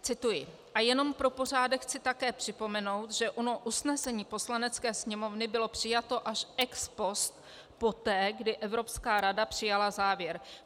Cituji: A jenom pro pořádek chci také připomenout, že ono usnesení Poslanecké sněmovny bylo přijato až ex post, poté, kdy Evropská rada přijala závěr.